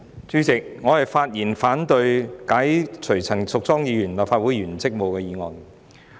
主席，我發言反對動議解除陳淑莊議員立法會議員職務的議案。